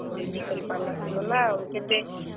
ଆଉ ଯେ ନି କରି ପାର୍ ଲା ସେ ଗଲା ଆଉ କେତେ,